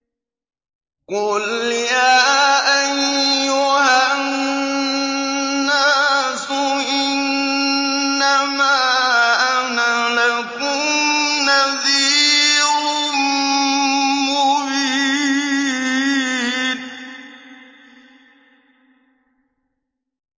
قُلْ يَا أَيُّهَا النَّاسُ إِنَّمَا أَنَا لَكُمْ نَذِيرٌ مُّبِينٌ